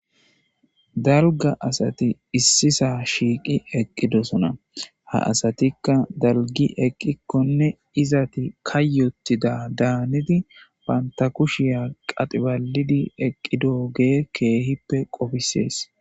dalga asati Issisa shiiqi eqidosona ha asatikka dalgi ekikonne izeti kayotida danidi banta kushiya qadhi balidi eqidogey kehipe qofisese